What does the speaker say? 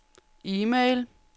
e-mail